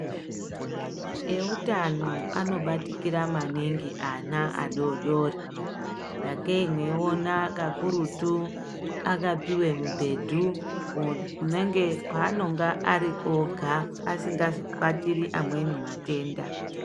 Ehutano anobatikira maningi ana adodori sakei meiona kakurutu akapiwe mibhedhu kwaanenge ari ega asingazobatiri amweni matenda.